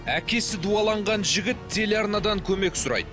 әкесі дуаланған жігіт телеарнадан көмек сұрайды